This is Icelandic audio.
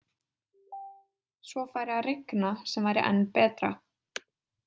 Svo færi að rigna sem væri enn betra.